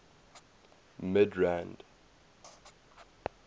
midrand